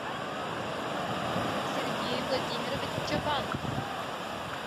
сергей владимирович чабан